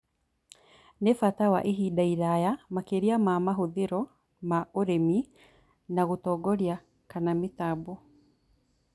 Nĩ bata wa ihinda iraya makĩria ma mahũthĩro ma ũrĩmi na gũtongoria kana mĩtambo